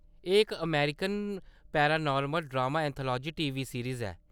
एह्‌‌ इक American paranormal drama anthology TV series ऐ।